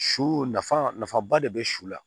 Su nafa nafaba de bɛ su la